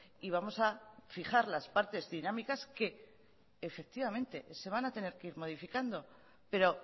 y vamos a fijar las partes dinámicas que efectivamente se van a tener que ir modificando pero